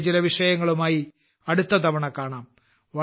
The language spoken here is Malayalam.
പുതിയ ചില വിഷയങ്ങളുമായി അടുത്ത തവണ കാണാം